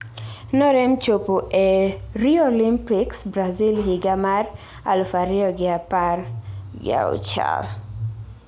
Norem chopo ee Rio Olympics Brazil higa mar aluf ariyo gi apar gi auchiel.